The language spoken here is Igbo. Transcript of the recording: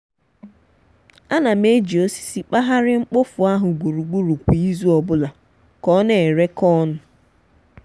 ana m eji osisi kpahari mkpofu ahu gburugburu kwa izu obula ka ona ere ka onu.